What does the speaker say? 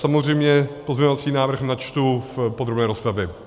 Samozřejmě pozměňovací návrh načtu v podrobné rozpravě.